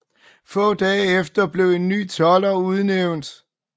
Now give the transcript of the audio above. Få dage efter blev en ny tolder udnævnt